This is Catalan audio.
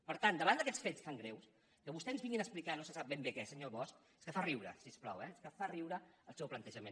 per tant davant d’aquests fets tan greus que vostès ens vinguin a explicar no se sap ben bé què senyor bosch és que fa riure si us plau eh és que fa riure el seu plantejament